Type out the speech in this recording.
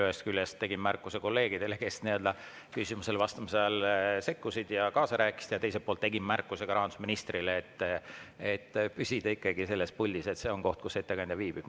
Ühest küljest tegin märkuse kolleegidele, kes küsimusele vastamise ajal sekkusid ja kaasa rääkisid, ja teiselt poolt tegin märkuse ka rahandusministrile, et ta püsiks ikkagi selles puldis – see on koht, kus ettekandja viibib.